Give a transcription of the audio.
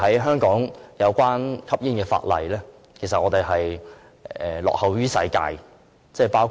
香港有關吸煙的法例，其實是落後於世界的。